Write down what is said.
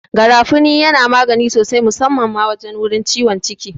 Garafuni yana magani sosai musamman ma wurin ciwon ciki